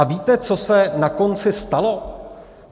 A víte, co se na konci stalo?